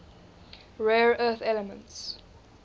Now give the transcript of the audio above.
rare earth elements